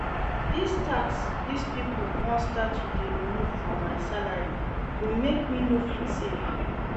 Dis tax dis people wan start to dey remove from my salary go make me no fit save